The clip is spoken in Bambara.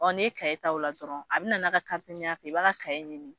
n'i ye kaye ta o la dɔrɔn a bɛna n'a ka y'a fɛ i b'a ka kaye ɲini